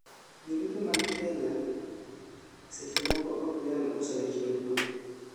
jolupo mag Kenya seche moko ok nyal uso rech duto